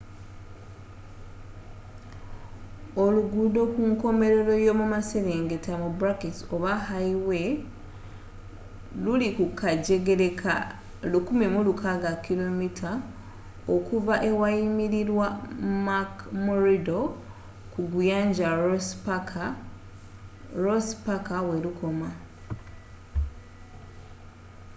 oluguudo kunkomelero y’omumaserengeta oba hayiwe luli kukajegere ka 1600km okuva awayimirirwa mcmurdo ku guyanja ross paka welukoma